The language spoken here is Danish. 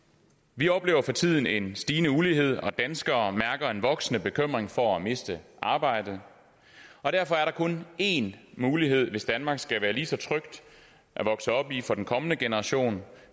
vi oplever for tiden en stigende ulighed og danskere mærker en voksende bekymring for at miste arbejdet derfor er der kun en mulighed hvis danmark skal være lige så trygt at vokse op i for den kommende generation